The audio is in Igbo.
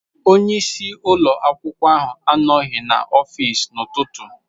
Onye isi ụlọ akwụkwọ ahụ anọghị n'ọfịsi n'ụtụtụ.